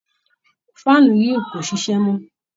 Faanu yìí kò ṣiṣẹ́ mọ́.